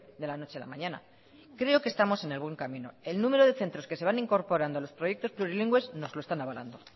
de la noche a la mañana creo que estamos en el buen camino el número de centros que se van incorporando a los proyectos plurilingües nos lo están avalando